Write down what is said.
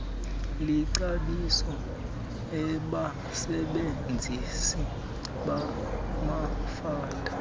licebisa abasebenzisi bamafutha